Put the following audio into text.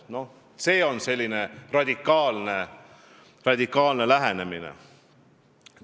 Noh, see on selline radikaalne lähenemine.